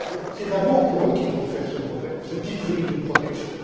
C'est d'abord pour eux qu'il faut faire ce brevet, ce titre unique de protection.